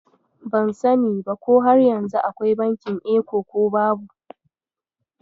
Ban sani ba ko har yanzu akwai bankin Eco ko babu.